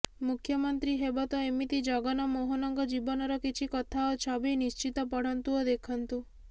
ମୁଖ୍ୟମନ୍ତ୍ରୀ ହେବ ତ ଏମିତି ଜଗନ ମୋହନଙ୍କ ଜୀବନର କିଛି କଥା ଓ ଛବି ନିଶ୍ଚିତ ପଢ଼ନ୍ତୁ ଓ ଦେଖନ୍ତୁ